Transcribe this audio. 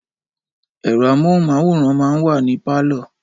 Ẹ̀rọ amóhunmáwòrán máa ń wà ní pálọ̀